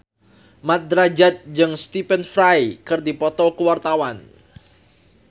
Mat Drajat jeung Stephen Fry keur dipoto ku wartawan